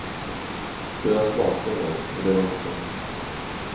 Det har jag smakat en gång, och det var inte gott.